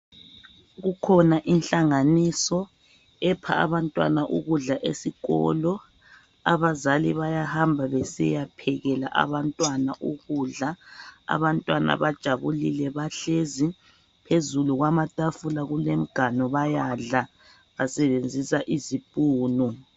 Kukhona inhlanganiso epha abantwana ukudla esikolo. Abazali bayahamba besiya phekela abantwana ukudla. Abantwana bajabulile bahlezi phezulu kwamatafula kuleminganu bayadla basebenzisa izipunu.